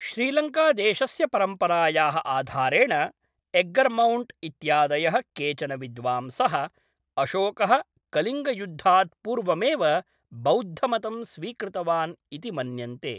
श्रीलङ्कादेशस्य परम्परायाः आधारेण, एग्गर्मोण्ट् इत्यादयः केचन विद्वांसः, अशोकः कलिङ्गयुद्धात् पूर्वमेव बौद्धमतं स्वीकृतवान् इति मन्यन्ते।